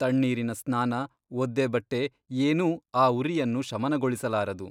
ತಣ್ಣೀರಿನ ಸ್ನಾನ ಒದ್ದೆಬಟ್ಟೆ ಏನೂ ಆ ಉರಿಯನ್ನು ಶಮನಗೊಳಿಸಲಾರದು.